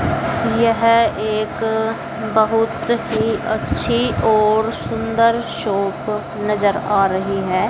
यह एक बहुत ही अच्छी और सुंदर शॉप नजर आ रही है।